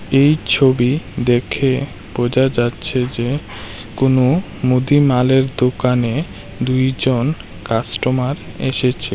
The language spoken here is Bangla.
এই ছবি দেখে বোঝা যাচ্ছে যে কোনো মুদিমালের দোকানে দুইজন কাস্টমার এসেছে।